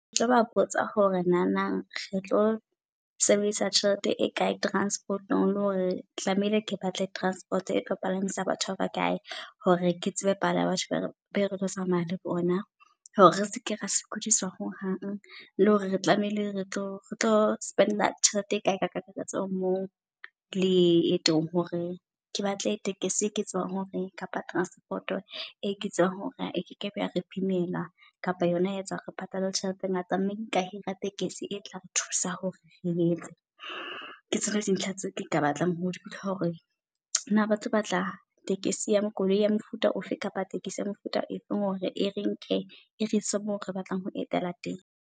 Ketlo ba botsa hore nanang re tlo sebedisa tjhelete e kae. Transport-ong le hore tlamehile ke batle transport e tlo balance-a batho ba bakae hore ke tsebe palo ya batho be re tlo tsamaya le bona. Hore re seke ra sokudisa ho hang, le hore re tlamehile re tlo re tlo spend-a tjhelete e kae ka kakaretso mo leetong. Hore ke batle tekesi eke tsebang hore kapa transport-o e ke tsebang hore e kekebe yare bimela kapa yona ya etsa re patale tjhelete e ngata. Mme nka hira tekesi e tla re thusa hore re yetse ke tshware di ntho tse ka batlang ho di nka. Hore na batlo batla tekesi ya koloi ya mofuta ofe kapa tekesi ya mefuta e feng hore e re nke e reise mo re batlang ho etela teng.